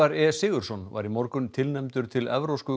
e Sigurðsson var í morgun tilnefndur til Evrópsku